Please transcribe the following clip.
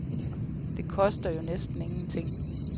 De koster jo næsten ingenting.